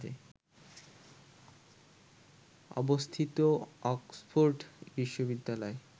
অবস্থিত অক্সফোর্ড বিশ্ববিদ্যালয়